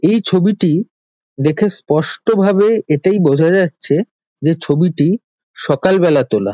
এই ছবিটি দেখে স্পষ্টভাবে এটাই বোঝা যাচ্ছে যে ছবিটি সকালবেলা তোলা।